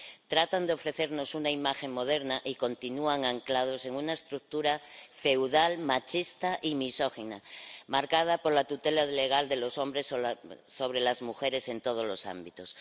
Tratan de ofrecernos una imagen moderna y continúan anclados en una estructura feudal, machista y misógina, marcada por la tutela legal de los hombres sobre las mujeres en todos los ámbitos.